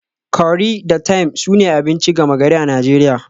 Curry da thyme sune abinci gama gari a Najeriya